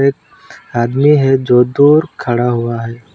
आदमी है जो दूर खड़ा हुआ है।